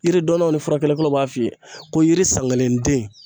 Yiri dɔnnaw ni furakɛlikɛlaw b'a f'i ye ko yiri san kelen den